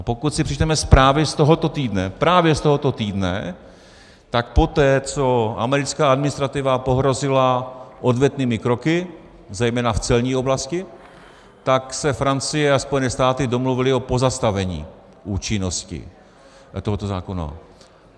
A pokud si přečteme zprávy z tohoto týdne, právě z tohoto týdne, tak poté, co americká administrativa pohrozila odvetnými kroky, zejména v celní oblasti, tak se Francie a Spojené státy domluvily o pozastavení účinnosti tohoto zákona.